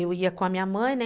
Eu ia com a minha mãe, né?